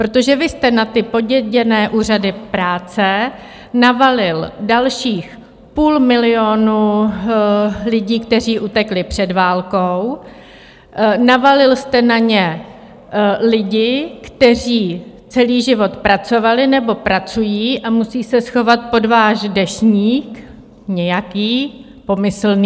Protože vy jste na ty poděděné úřady práce navalil dalších půl milionu lidí, kteří utekli před válkou, navalil jste na ně lidi, kteří celý život pracovali nebo pracují a musí se schovat pod váš "deštník", nějaký, pomyslný.